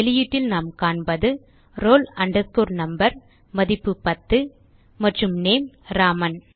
வெளியீட்டில் நாம் காண்பது roll number மதிப்பு டென் மற்றும் நேம் ராமன்